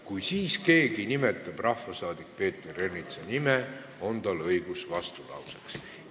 Kui siis keegi nimetab rahvasaadik Peeter Ernitsa nime, on tal õigus vastulauseks.